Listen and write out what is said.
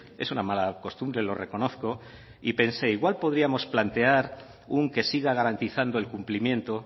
es una mala costumbre lo reconozco y pensé igual podríamos plantear un que siga garantizando el cumplimiento